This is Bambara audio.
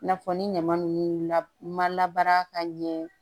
I n'a fɔ ni ɲama ninnu la ma labaara ka ɲɛ